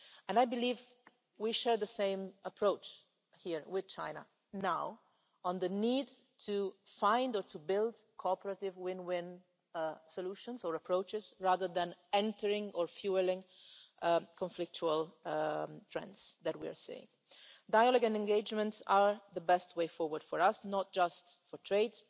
I believe we share the same approach here with China now on the need to find, or to build, cooperative win-win solutions and approaches, rather than entering on, or fuelling, the conflictual trends we are seeing. Dialogue and engagement are the best way forward for us, not just on